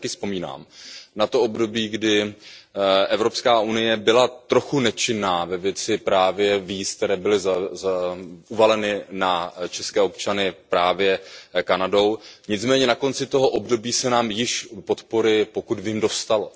Já si taky vzpomínám na to období, kdy Evropská unie byla trochu nečinná ve věci víz, které byly uvaleny na české občany právě Kanadou, nicméně na konci toho období se nám již podpory, pokud vím, dostalo.